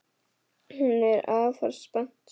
Hún er afar spennt.